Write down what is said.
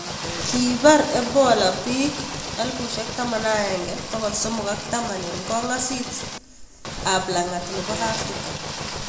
Kiipar ebola bik 11310 eng kongaasis ab langat nebo africa